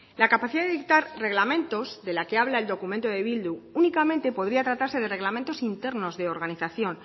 la capacidad de dictar reglamentos de la que habla el documento de bildu únicamente podría tratarse de reglamentos internos de organización